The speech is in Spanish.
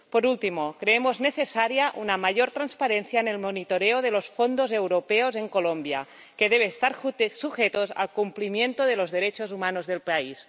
Por último, creemos necesaria una mayor transparencia en el monitoreo de los fondos europeos en Colombia, que debe estar sujeto al cumplimiento de los derechos humanos en el país.